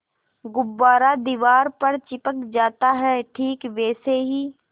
गुब्बारा दीवार पर चिपक जाता है ठीक वैसे ही